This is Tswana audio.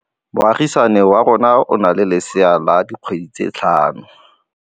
Moagisane wa rona o na le lesea la dikgwedi tse tlhano.